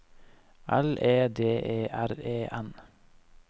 L E D E R E N